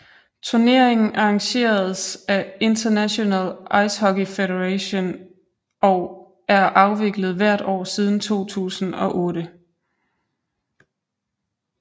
Turneringen arrangeres af International Ice Hockey Federation og er afviklet hvert år siden 2008